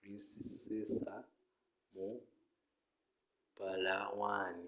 princesa mu palawan